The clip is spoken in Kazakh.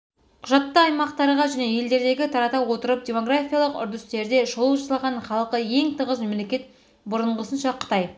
құжатта аймақтарға және елдерге тарата отырып демографиялық үрдістерде шолу жасалған халқы ең тығыз мемлекет бұрынғысынша қытай